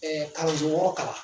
kalandenso wɔɔrɔ kalan.